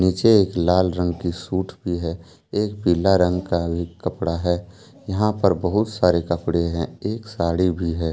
पीछे एक लाल रंग की सूट भी है एक पिला रंग का एक कपड़ा है यहां पर बहुत सारे कपड़े हैं एक साड़ी भी है।